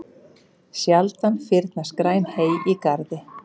Sjaldan fyrnast græn hey í garði.